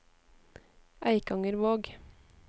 Eikangervåg